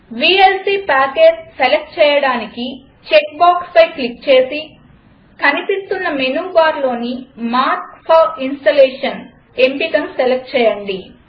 VLC package select చేయడానికి check బాక్స్పై click చేసి కనిపిస్తున్న మెనూ బార్లోని మార్క్ ఫోర్ ఇన్స్టాలేషన్ ఎంపికను సెలక్ట్ చేయండి